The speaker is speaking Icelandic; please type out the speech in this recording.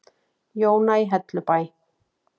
Jóna í Hellubæ.